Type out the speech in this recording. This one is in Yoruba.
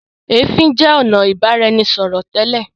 ẹfin jẹ ọnà ibaraẹnisọrọ tẹ́lẹ̀.